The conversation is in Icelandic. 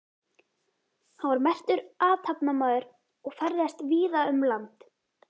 Hann var merkur athafnamaður og ferðaðist víða um land.